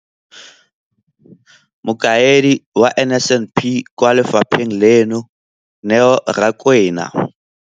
Mokaedi wa NSNP kwa lefapheng leno, Neo Rakwena,